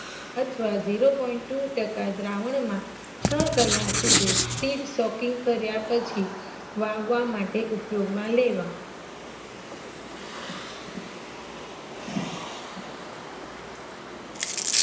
અથવા zero point two ટકા દ્રાવણમાં છ કલાક સુધી સીડ સોકીંગ કયા પછી વાવવા માટે ઉપયોગ માં લેવા